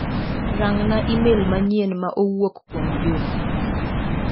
Rang'na imel manyien ma owuok kuom Juma.